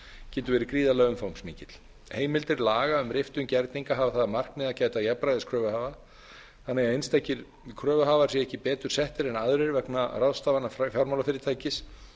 getur verið gríðarlega umfangsmikill heimildir laga um riftun gerninga hafa það að markmiði að gæta jafnræðis kröfuhafa þannig að einstakir kröfuhafar séu ekki betur settir en aðrir vegna ráðstafana fjármálafyrirtækis